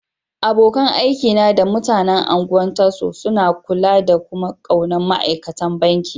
Abokan aiki na da mutanen Ungwan Tasso suna kulla da kuma ƙaunan ma'aikatan banki.